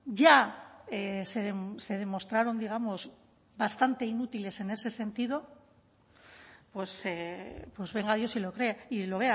ya se demostraron digamos bastante inútiles en ese sentido pues venga dios y lo vea